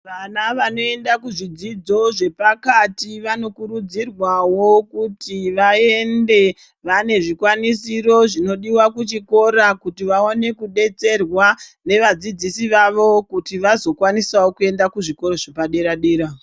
Vana vanoenda kuzvidzidzo zvepakati vanokurudzirwawo kuti vaende vane zvikwanisiro zvinodiwa kuchikora kuti vaone kudetserwa nevadzidzisi vavo kuti vazokwanisawo kuenda kuzvikora zvepadera dera.